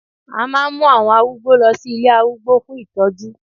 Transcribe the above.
a ma n mu àwọn arúgbó lọ sí ilé arúgbó fún itoju